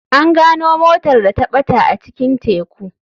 An gano motar da ta bata a cikin teku.